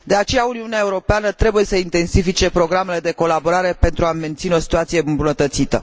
De aceea, Uniunea Europeană trebuie să intensifice programele de colaborare pentru a menține o situație îmbunătățită.